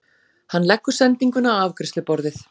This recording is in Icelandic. Hann leggur sendinguna á afgreiðsluborðið.